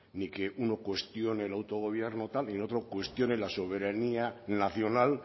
ni que uno cuestione el autogobierno tal y el otro cuestione la soberanía nacional